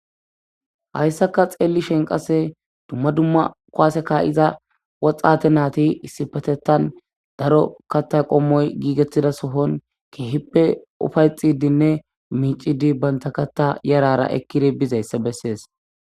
Haysaka xelishini qase duma duma kuwase ka'za woxate nati issipetetan daro katha qomoyi gigetida Sohon kehipe ufayxidinne mic'ide banta katha yarara ekidi bizaysa beses.